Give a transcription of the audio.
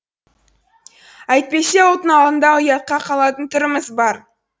әйтпесе ұлттың алдында ұятқа қалатын түріміз бар